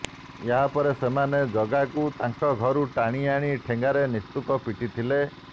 ଏହାପରେ ସେମାନେ ଜଗାଙ୍କୁ ତାଙ୍କ ଘରୁ ଟାଣି ଆଣି ଠେଙ୍ଗାରେ ନିସ୍ତୁକ ପିଟିଥିଲେ